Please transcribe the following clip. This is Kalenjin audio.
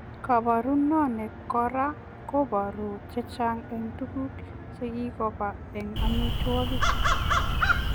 Kabaranoo nii koraa kobaruu chechang eng tuguk chekikopaa eng amitwogik